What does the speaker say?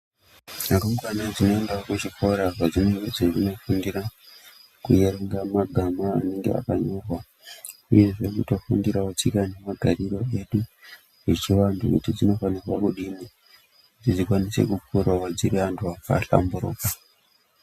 Rumbwana dzinoendawo kuchikora kwadzinonga dzeindofundira kuerenga magama anenge akanyora uyezve kutofundirawo tsika nemagariro edu yechivantu kuti miti inofanirwa kudini kuti ibatsire vantu vahlamburuka.